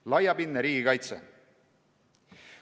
Järgmine teema: laiapindne riigikaitse.